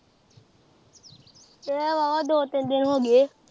ਗਯਾ ਵਾਂ ਓਹ ਦੋ ਤਿੰਨ ਦਿਨ ਹੋਗੇ